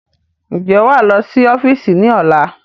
Ń jẹ́ wá lọ sí ọ́fíìsì ni ọ̀la?